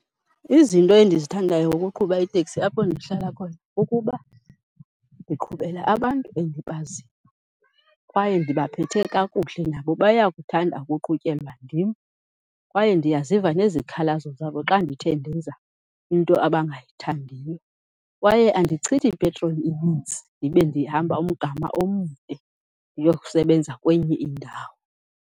Izinto endizithandayo ngokuqhuba iteksi apho ndihlala khona kukuba ndiqhubela abantu endibaziyo kwaye ndibaphethe kakuhle, nabo bayakuthanda ukuqhutyelwa ndim kwaye ndiyaziva nezikhalazo zabo xa ndithe ndenza into abangayithandiyo. Kwaye andichithi ipetroli inintsi ndibe ndihamba umgama omde ndiyokusebenza kwenye indawo.